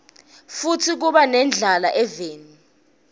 futsi kuba nendlala eveni